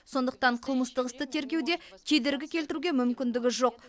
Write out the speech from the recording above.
сондықтан қылмыстық істі тергеуде кедергі келтіруге мүмкіндігі жоқ